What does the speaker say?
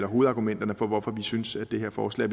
hovedargumenterne for hvorfor vi synes det her forslag